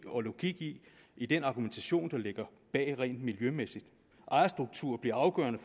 og logik i den argumentation der ligger bag rent miljømæssigt ejerstrukturen bliver afgørende